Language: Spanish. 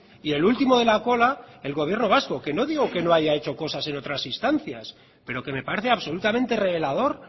y el último de la cola el gobierno vasco que no digo que no haya hecho cosas en otras instancias pero que me parece absolutamente revelador